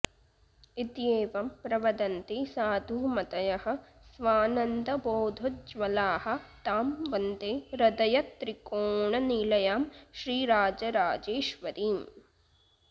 इत्येवं प्रवदन्ति साधुमतयः स्वानन्दबोधोज्ज्वलाः तां वन्दे हृदयत्रिकोणनिलयां श्रीराजराजेश्वरीम्